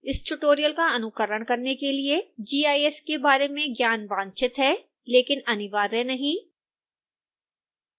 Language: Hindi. इस ट्यूटोरियल का अनुकरण करने के लिए gis के बारे में ज्ञान वांछित है लेकिन अनिवार्य नहीं